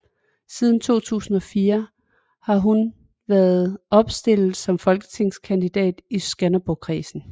Siden 2004 har hun været opstillet som folketingskandidat i Skanderborgkredsen